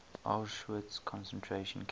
auschwitz concentration camp